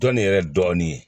Dɔnni yɛrɛ dɔɔnin ye